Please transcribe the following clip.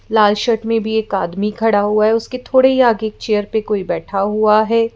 लाल shirt में भी एक आदमी खड़ा हुआ है उसके थोड़े ही आगे एक चेयर पे कोई बैठा हुआ है।